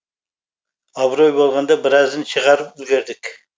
абырой болғанда біразын шығарып үлгердік